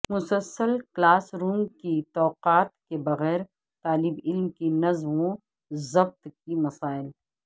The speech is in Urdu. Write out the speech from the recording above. مسلسل کلاس روم کی توقعات کے بغیر طالب علم کی نظم و ضبط کے مسائل